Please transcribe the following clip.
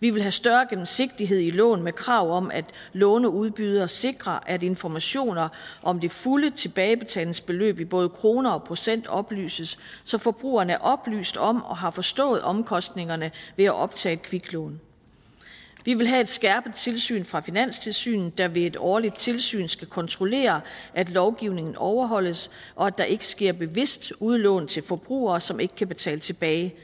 vi vil have større gennemsigtighed i loven med krav om at låneudbydere sikrer at informationer om det fulde tilbagebetalingsbeløb i både kroner og procent oplyses så forbrugerne er oplyst om og har forstået omkostningerne ved at optage kviklån vi vil have et skærpet tilsyn fra finanstilsynet der ved et årligt tilsyn skal kontrollere at lovgivningen overholdes og at der ikke sker bevidst udlån til forbrugere som ikke kan betale tilbage